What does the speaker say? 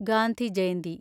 Gandhi Jayanti